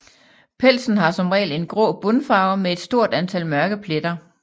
Pelsen har som regel en grå bundfarve med et stort antal mørke pletter